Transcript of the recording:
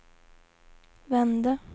vände